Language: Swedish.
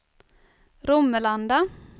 Romelanda